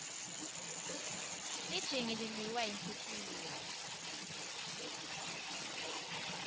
lijingi lidliwa yinhlitiyo